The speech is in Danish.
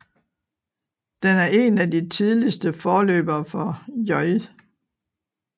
Den er en af de tidligste forløbere for J